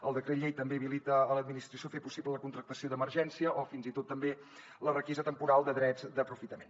el decret llei també habilita l’administració a fer possible la contractació d’emergència o fins i tot també la requisa temporal de drets d’aprofitament